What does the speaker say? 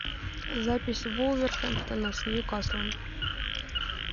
запись вулверхэмптона с ньюкаслом